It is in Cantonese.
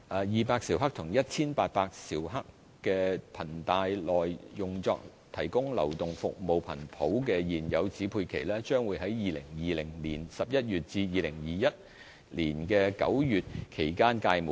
二百兆赫及1800兆赫頻帶內用作提供流動服務頻譜的現有指配期，將於2020年11月至2021年9月期間屆滿。